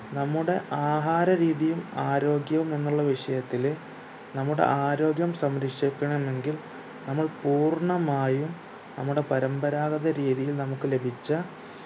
നമ്മുടെ ആഹാര രീതിയും ആരോഗ്യവും എന്നുള്ള വിഷയത്തില് നമ്മുടെ ആര്യോഗം സംരക്ഷിക്കണം എങ്കിൽ നമ്മൾ പൂർണ്ണമായും നമ്മുടെ പരമ്പരാഗത രീതിയിൽ നമുക്ക് ലഭിച്ച